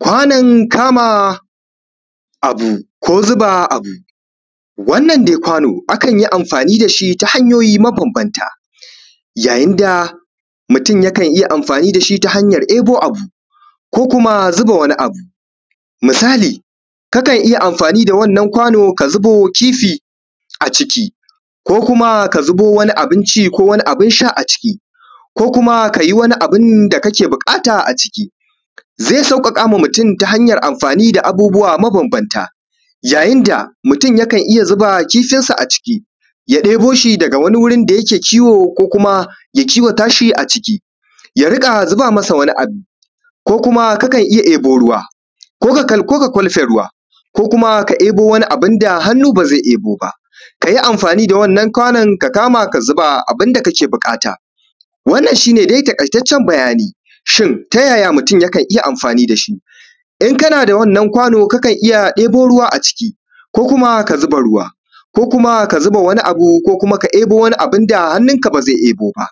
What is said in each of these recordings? Kwanan kama abu ko zuba abu. Wannan dai kwano akanyi amfani dashi ta hanyoyi mabanbanta, ya yinda mutun yakan yi amfani dashi ta hanyan ebo abuko kuma zuba wani abu. Misali ka kanyi da wannan kwano ka zubo kifi a ciki ko kuma ka zubo wani abunci ko abun sha a ciki ko kuma kayi wani abunda kake buƙata a ciki. Zai sauƙaƙama mutun ta hanyan amfani da abubuwa mabanbanta mutun kan iyya zuba kifinshi a ciki, ya ɗeboshi daga wani wurin da yake kiwo ko kuma ya kiwatashi a ciki ya riƙa zuba masa wani abu. Ko kuma kakan iyya ebo ruwa koka kwalfe ruwa ko kuma ebo waniabunda hannu bazai ebo ba, kayi amfani da wannan kwanon ka kama ka zuba abun da kake buƙata. Wannan shine dai taƙaitaccen bayani. Shin tayaya mutun yakan iyya amfani dashi? In kana da wannan kwano kakan iyya ebo ruwa a ciki ko kuma ka zuba ruwa ko ka ebo wani ko kuma ka zuba wani abu, da hannun ka bazai ebo ba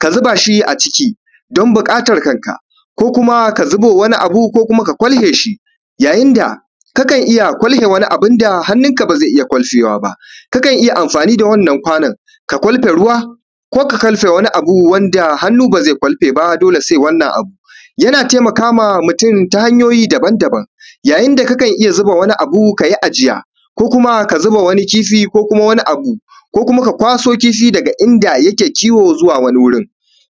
ka zubashi a ciki dan buƙatan kanka ko kuma zuba wani abu ko kuma ka kwalfeshi. Ya yinda kakan kwalfe wani wanda hannunka bazai iyya kwalfewa ba, kakan iyya amfani da wannan kwannon ka kwalfe ruwa ko ka kwalfe wani abu da hannun ka bazai iyya kwalfewa ba dole sai wannan abu. Yana taimakama mutun ta hanyoyi daban daban ya yinda kakan iyya zuba wani abu kayi ajiya ko kuma ka zuba wani kifi ko kuma wani abu ko kuma ka kwaso kifi daga inda yake kiwo zuwa wani gurin,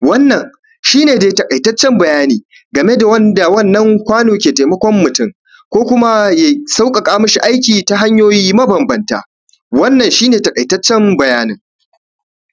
wannan shine dai taƙaitaccen bayani gameda wannan kwano ke taimakon mutun ko kuma ya sauƙaƙa mishi aiki ta hanyoyi mabanbanta wannan shine taƙaitaccen bayanin.